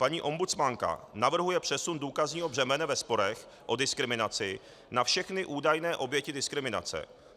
Paní ombudsmanka navrhuje přesun důkazního břemene ve sporech o diskriminaci na všechny údajné oběti diskriminace.